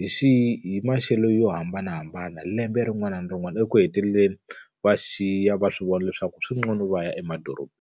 hi hi maxelo yo hambanahambana, lembe rin'wana na rin'wana. Eku heteleleni va xiya va swi vona leswaku swi nqcono va ya emadorobeni.